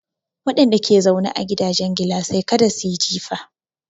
Wadanda ke zaune a gidajen gilasai kada su yi jifa.